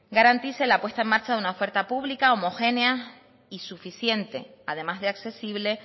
garantice la puesta en marcha de una oferta pública homogénea y suficiente además de accesible